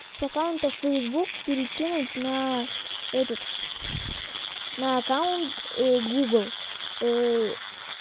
с аккаунта фейсбук перекинуть на этот на аккаунт гугл